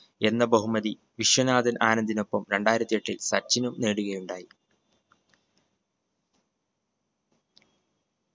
എന്ന ബഹുമതി വിശ്വനാഥൻ ആനന്ദിനൊപ്പം രണ്ടായിരത്തി എട്ടിൽ സച്ചിനും നേടുകയുണ്ടായി.